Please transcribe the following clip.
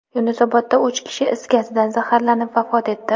Yunusobodda uch kishi is gazidan zaharlanib vafot etdi.